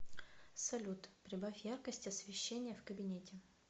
салют прибавь яркость освещения в кабинете